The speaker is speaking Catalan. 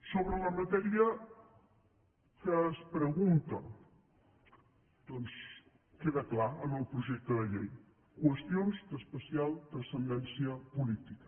sobre la matèria que es pregunta doncs queda clar en el projecte de llei qüestions d’especial transcendència política